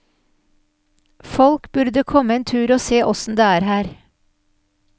Folk burde komme en tur og se åssen det er her.